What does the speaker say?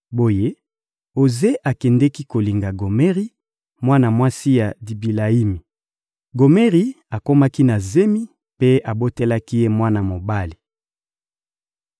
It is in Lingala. Boye, Oze akendeki kolinga Gomeri, mwana mwasi ya Dibilayimi. Gomeri akomaki na zemi mpe abotelaki ye mwana mobali.